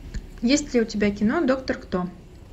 есть ли у тебя кино доктор кто